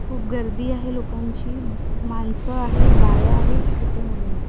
खूप गर्दी आहे लोकांची माणसं आहेत बाया आहेत छोटी मुलं आहेत.